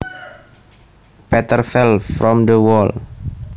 Peter fell from the wall